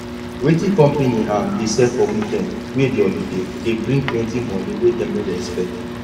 wetin company um dey sell for weekend wey be holiday dey bring plenty money wey dem no dey expect